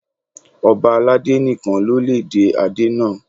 Ọ̀ba aládé nìkan ló lè dé adé náà.